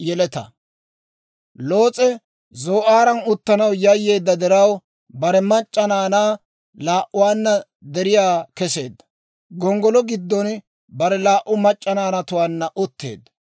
Loos'e zoo'aaran uttanaw yayyeedda diraw, bare mac'c'a naanaa laa"uwaanna deriyaa keseedda; gonggolo giddon bare laa"u mac'c'a naanatuwaanna utteedda.